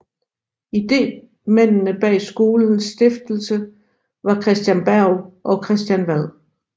Idémændene bag skolens stiftelse var Christen Berg og Christian Wad